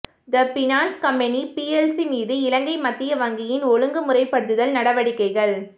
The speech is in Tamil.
த பினான்ஸ் கம்பனி பிஎல்சி மீது இலங்கை மத்திய வங்கியின் ஒழுங்கு முறைப்படுத்தல் நடவடிக்கைகள்